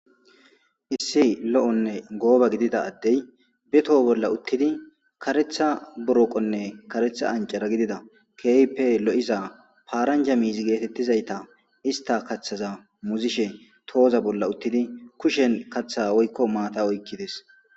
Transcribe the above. Issi lo'onne gooba gidida addey betoho bolla uttidi karetha buroqonne karetha ancara gidida keype lo'iza paaranja miizi geetettizayta ista kathaza muzishe tooza bolla uttidi kushen kaththa oykko maata oykkides.